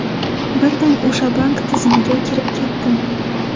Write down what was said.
Birdan o‘sha bank tizimiga kirib ketdim.